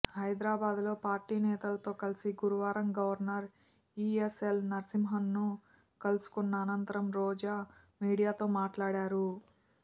హైదరాబాద్లో పార్టీ నేతలతో కలిసి గురువారం గవర్నర్ ఈఎస్ఎల్ నరసింహన్ను కలుసుకున్న అనంతరం రోజా మీడియాతో మాట్లాడారు